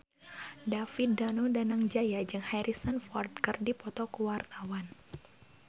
David Danu Danangjaya jeung Harrison Ford keur dipoto ku wartawan